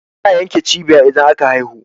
ana yanke cibiya idan an haihu